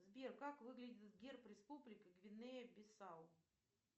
сбер как выглядит герб республики гвинея бисау